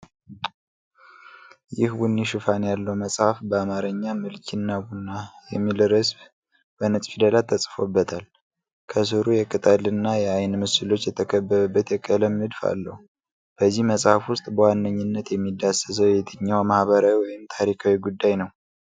ይህ ቡኒ ሽፋን ያለው መጽሐፍ፣ በአማርኛ "ምልኪ እና ቡና" የሚል ርዕስ በነጭ ፊደላት ተጽፎበታል፤ ከሥሩ የቅጠል እና የአይን ምስሎች የተከበበበት የቀለም ንድፍ አለው፤ በዚህ መጽሐፍ ውስጥ በዋነኝነት የሚዳሰሰው የትኛው ማኅበራዊ ወይም ታሪካዊ ጉዳይ ነው?